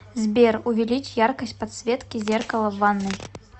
сбер увеличь яркость подсветки зеркала в ванной